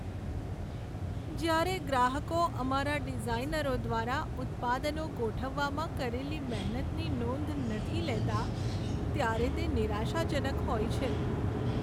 જ્યારે ગ્રાહકો અમારા ડિઝાઈનરો દ્વારા ઉત્પાદનો ગોઠવવામાં કરેલી મહેનતની નોંધ નથી લેતા, ત્યારે તે નિરાશાજનક હોય છે.